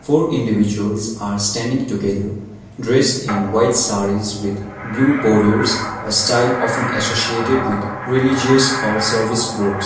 four individuals are standing together dressed in white sarees with blue borders a style often associated with religious or service group.